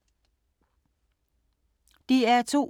DR2